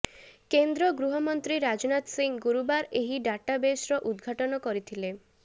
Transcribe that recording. କେନ୍ଦ୍ର ଗୃହମନ୍ତ୍ରୀ ରାଜନାଥ ସିଂହ ଗୁରୁବାର ଏହି ଡାଟାବେସ୍ର ଉଦ୍ଘାଟନ କରିଥିଲେ